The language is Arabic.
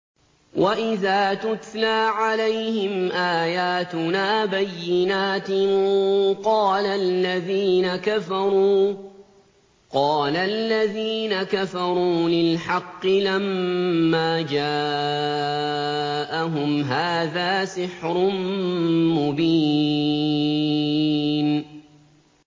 وَإِذَا تُتْلَىٰ عَلَيْهِمْ آيَاتُنَا بَيِّنَاتٍ قَالَ الَّذِينَ كَفَرُوا لِلْحَقِّ لَمَّا جَاءَهُمْ هَٰذَا سِحْرٌ مُّبِينٌ